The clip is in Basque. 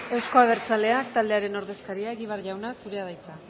euzko abertzaleak taldearen ordezkaria egibar jauna zurea da hitza